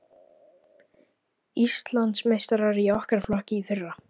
Íslandsmeistarar í okkar flokki í fyrra.